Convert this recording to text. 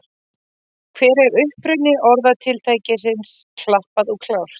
Hver er uppruni orðatiltækisins klappað og klárt?